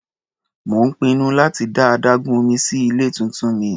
Mò ń pinnu láti dá adágún omí sí ilé tuntun mi.